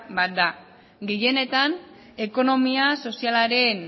bat da gehienetan ekonomia sozialaren